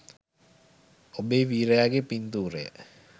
ඔබේ වීරයාගේ පින්තූරය